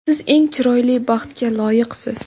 Siz eng chiroyli baxtga loyiqsiz.